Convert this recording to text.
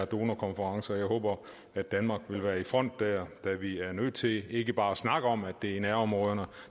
donorkonference og jeg håber at danmark vil være i front der da vi er nødt til ikke bare at snakke om at det i nærområderne